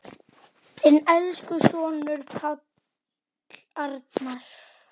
Þinn elsku sonur, Páll Arnar.